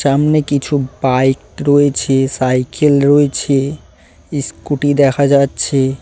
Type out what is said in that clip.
সামনে কিছু বাইক রয়েছে সাইকেল রয়েছে ইস্কুটি দেখা যাচ্ছে।